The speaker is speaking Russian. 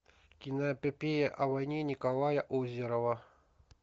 киноэпопея о войне николая озерова